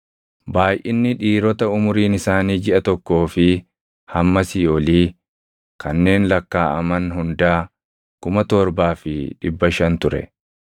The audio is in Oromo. Baayʼinni dhiirota umuriin isaanii jiʼa tokkoo fi hammasii olii kanneen lakkaaʼaman hundaa 7,500 ture.